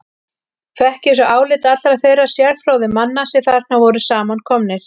Fékk ég svo álit allra þeirra sérfróðu manna, sem þarna voru samankomnir.